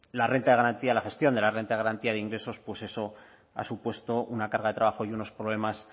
la renta de garantía la gestión de la renta de garantía de ingresos pues eso ha supuesto una carga de trabajo y unos problemas